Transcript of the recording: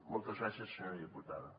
moltes gràcies senyora diputada